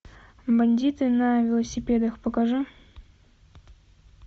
бандиты на велосипедах покажи